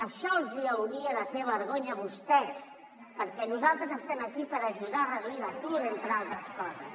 això els hauria de fer vergonya a vostès perquè nosaltres estem aquí per ajudar a reduir l’atur entre altres coses